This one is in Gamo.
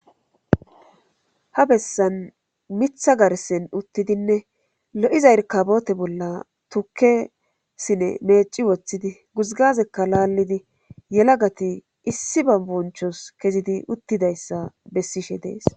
Ha bessan mitha garsen uttidinne lo'iza erkabote bolla tukesine meeci woththidi guzgazekka laallidi yelagati issi ba bonchos kezidi uttidayssa bessishe dees.